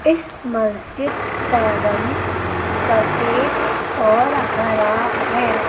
इस मस्जिद का रंग सफेद और हरा है।